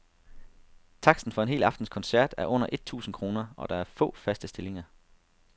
Taksten for en hel aftens koncert er under et tusind kroner, og der er få, faste stillinger.